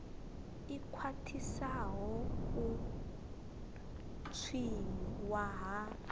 i khwaṱhisaho u tswiwa ha